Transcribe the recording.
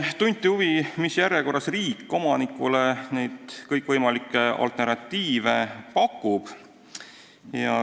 Tunti huvi, mis järjekorras riik omanikule neid kõikvõimalikke alternatiive pakub.